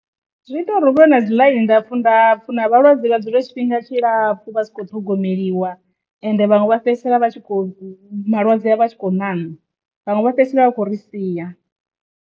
Zwi ita uri hu vhe na dzi ḽaini ndapfhu-ndapfhu na vhalwadze vha dzule tshifhinga tshi lapfhu vha sa kho ṱhogomeliwa ende vhaṅwe vha fhedzisela vha tshi kho malwadze a vha tshi kho na vhaṅwe vha fhedzisela vha tshi khou ri sia.